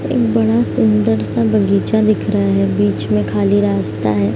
एक बड़ा सुंदर-सा बगीचा दिख रहा है बिच में खाली रास्ता है।